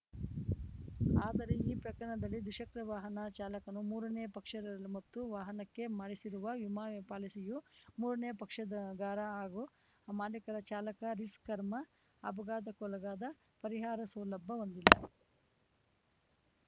ಆದರೆ ಈ ಪ್ರಕರಣದಲ್ಲಿ ದ್ವಿಚಕ್ರ ವಾಹನ ಚಾಲಕನು ಮೂರನೇ ಪಕ್ಷದ ಮತ್ತು ವಾಹನಕ್ಕೆ ಮಾಡಿಸಿರುವ ವಿಮಾ ಪಾಲಿಸಿಯು ಮೂರನೇ ಪಕ್ಷದಗಾರ ಹಾಗೂ ಮಾಲೀಕ ಚಾಲಕ ರಿಸ್ಕ್‌ ಕರ್ಮ ಅಘಘಾತಕ್ಕೊಳಗಾದ ಪರಿಹಾರ ಸೌಲಭ ಹೊಂದಿಲ್ಲ